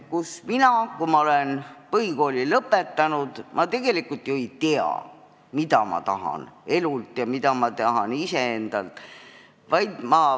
Kui ma olen põhikooli lõpetanud, siis ma tegelikult ju ei tea, mida ma tahan saada elult ja mida iseendalt.